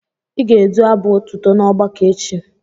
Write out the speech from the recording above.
Ị ga-edu abụ otuto n'ọgbakọ echi.